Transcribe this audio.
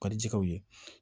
Ka di jɛgɛw ye